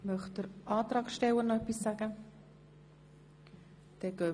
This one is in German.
Wünscht der Antragsteller nochmals das Wort?